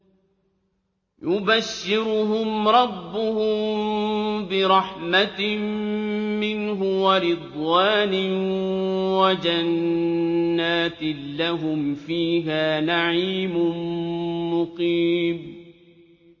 يُبَشِّرُهُمْ رَبُّهُم بِرَحْمَةٍ مِّنْهُ وَرِضْوَانٍ وَجَنَّاتٍ لَّهُمْ فِيهَا نَعِيمٌ مُّقِيمٌ